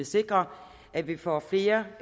sikre at vi får flere